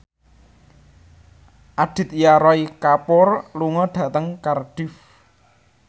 Aditya Roy Kapoor lunga dhateng Cardiff